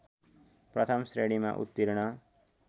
प्रथम श्रेणीमा उत्तीर्ण